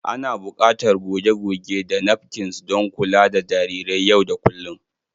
Ana buƙatar goge-goge da napkins don kula da jarirai yau da kullun.